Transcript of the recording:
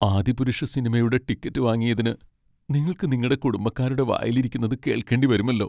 ആദിപുരുഷ് സിനിമയുടെ ടിക്കറ്റ് വാങ്ങിയതിന് നിങ്ങൾക്ക് നിങ്ങടെ കുടുംബക്കാരുടെ വായിലിരിക്കുന്നത് കേൾക്കേണ്ടി വരുമല്ലോ.